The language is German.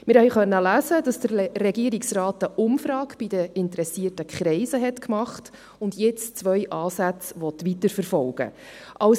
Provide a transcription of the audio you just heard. Wir konnten lesen, dass der Regierungsrat eine Umfrage bei den interessierten Kreisen durchgeführt hat und nun zwei Ansätze weiterverfolgen will.